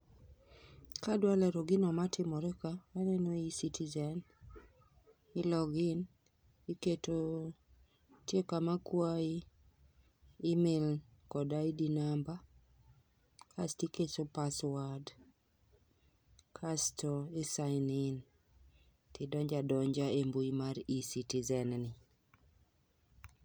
Kadwa lero gino matimore ka, aneno eCitizen,i log in, iketo, nitie kama kwayi email kod ID namba, kaito iketo password kaito i sign in tidonjo adonja e mbui mar eCitizen ni